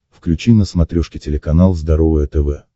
включи на смотрешке телеканал здоровое тв